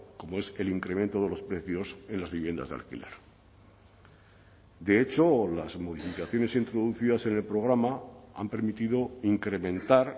como es el incremento de los precios en las viviendas de alquiler de hecho las modificaciones introducidas en el programa han permitido incrementar